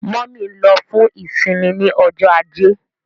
Mummy nlo fún isinmi ní Ọjọ́ Ajé.